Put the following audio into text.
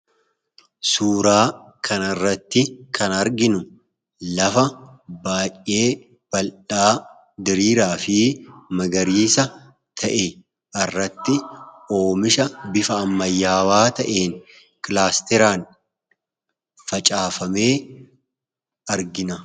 Suuraa kan irratti kan arginu lafa baa'yee baldhaa diriiraa fi magariisa ta'e irratti oomisha bifa amayyaawaa ta'een kilaasteraan facaafamee argina.